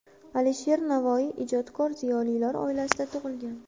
Alisher Navoiy ijodkor ziyolilar oilasida tug‘ilgan.